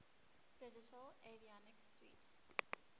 digital avionics suite